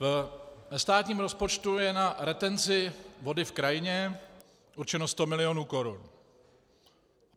Ve státním rozpočtu je na retenci vody v krajině určeno 100 milionů korun.